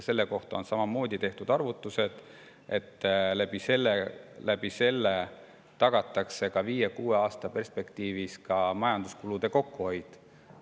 On tehtud arvutused, et sellega tagatakse viie või kuue aasta perspektiivis majanduskulude kokkuhoid.